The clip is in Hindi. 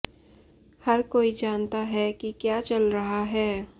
हर कोई जानता है कि क्या चल रहा है